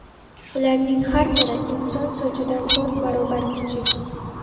Ularning har biri inson sochidan to‘rt barobar kichik.